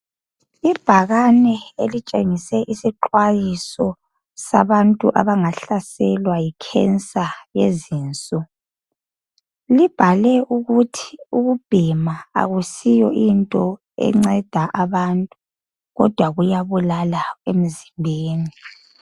Ibhakane elitshengise isixwayiso sabantu abangahlaselwa yi"cancer" yezinso. Libhale ukuthi ukubhema ayisiyonto enceda abantu kodwa kuyabulala emzimbeni.